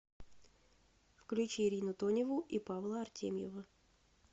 включи ирину тоневу и павла артемьева